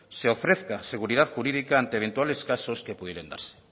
se ofrezca seguridad jurídica ante eventuales casos que pudieran darse